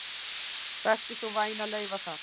Vertu svo vænn að leyfa það